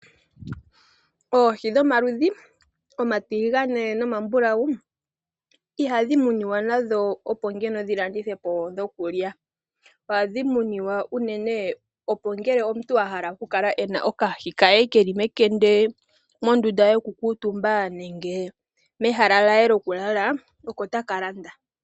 Oohi dhomaludhi omatiligane nomambulawu ihadhi muniwa nadho opo ngeno dhi landithwe po dhokulya. Ohadhi muniwa unene opo ngele omuntu a hala oku kala e na okahi ke keli mekende mondunda yoku kuutumba nenge mehala lye lyokulala, oko taka landa.